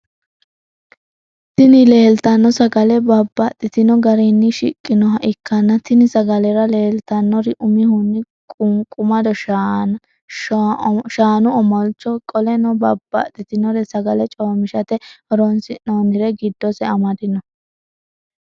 Tini lelitano sagale babatitino garinni shiqqinoha ikana tini sagalera lelitanori umihuni qoniqumado shaa, omolicho qoleno babatitinore sagale chomishshate horonisinonire gidose amadino